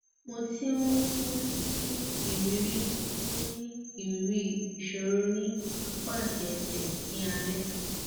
mo ti ń ní ìrírí ń ní ìrírí ìṣòro ní apá àti ẹsẹ ní alẹ